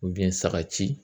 saga ci